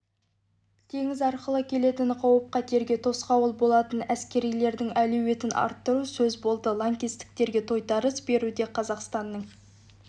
теңіз арқылы келетін қауіп-қатерге тосқауыл болатын әскерилердің әлеуетін арттыру сөз болды лаңкестерге тойтарыс беруде қазақстанның